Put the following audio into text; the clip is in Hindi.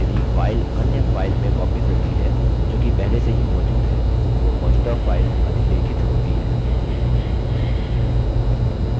हमने देखा यदि file अन्य file में copied होती है जो कि पहले से ही मौजूद है तो मौजूदा file अधिलेखित होती है